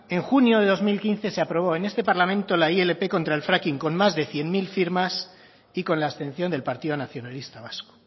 en junio de dos mil quince se aprobó en este parlamento la ilp contra el fracking con más de cien mil firmas y con la abstención del partido nacionalista vasco